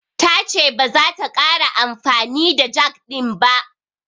Ta ce baza ta ƙara amfani da jag ɗin ba.